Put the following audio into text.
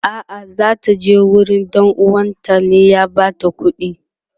a'a zata je gurin ɗan uwanta ne ya bata kudi